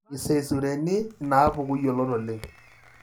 Iseizureni inaapuku yiolot oleng.